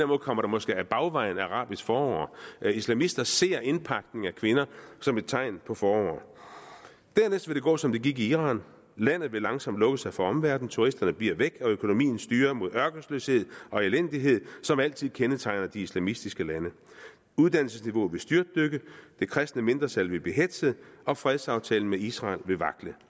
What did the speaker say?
måde kommer der måske ad bagvejen arabisk forår islamister ser indpakning af kvinder som et tegn på forår dernæst vil det gå som det gik i iran landet vil langsomt lukke sig for omverdenen turisterne bliver væk og økonomien styrer mod den ørkesløshed og elendighed som altid kendetegner de islamistiske lande uddannelsesniveauet vil styrtdykke det kristne mindretal vil blive hetzet og fredsaftalen med israel vil vakle